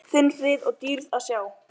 Skiptar skoðanir um kvóta